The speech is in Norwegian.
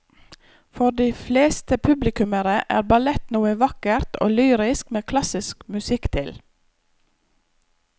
For de fleste publikummere er ballett noe vakkert og lyrisk med klassisk musikk til.